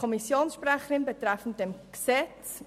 Kommissionssprecherin der GSoK.